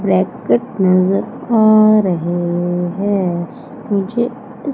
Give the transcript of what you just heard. bracket नजर आ रहे हैं मुझे इस--